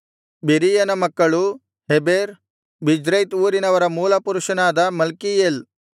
ಬೆರೀಯನ ಮಕ್ಕಳು Heber Birzaith ಊರಿನವರ ಮೂಲಪುರುಷನಾದ ಮಲ್ಕೀಯೇಲ್